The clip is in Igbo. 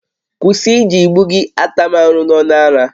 Kwụsị iji igbu gị ata m arụ n'ọnụ ara!